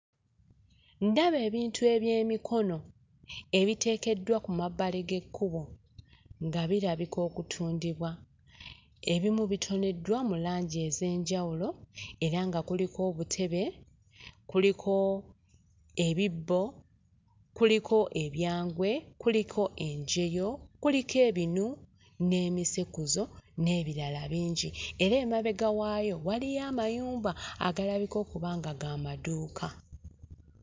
Ndaba ebintu eby'emikono ebiteekedddwa ku mabbali g'ekkubo nga birabika okutundibwa, ebimu bitoneddwa mu langi ez'enjawulo era nga kuliko obutebe, kuliko ebibbo, kuliko ebyangwe kuliko ebyangwe, kuliko enjoye, kuliko ebinu n'emisekuzo n'ebirala bingi, era amabega waayo waliwo amayumba agalabika okuba nga ga madduuka.